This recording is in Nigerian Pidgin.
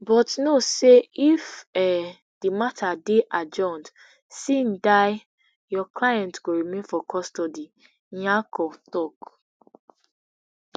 but know say if um di matter dey adjourned sine die your client go remain for custody nyako tok